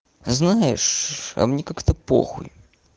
знаешь а мне как-то похуй